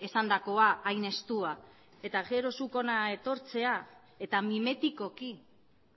esandakoa hain estua eta gero zuk hona etortzea eta mimetikoki